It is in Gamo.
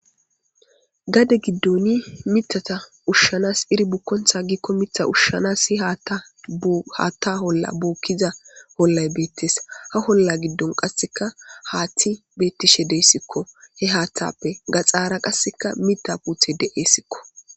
Gade giddoni mitata ushshanas iri bukkontha giikko mitha ushshanas si haatta bu haathazi holla bookkiza hollay beettees. ha holla giddon qasseka haathti beettishe deesikko he haaththappe gaxaara qasseka mitta puthe de7eessikko.